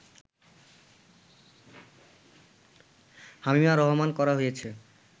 হামিমা রহমান করা হয়েছে